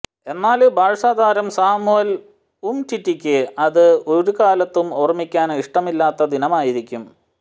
എന്നാല് ബാഴ്സ താരം സാമുവല് ഉംറ്റിറ്റിക്ക് അത് ഒരുകാലത്തും ഓര്മിക്കാന് ഇഷ്ടമില്ലാത്ത ദിനമായിരിക്കും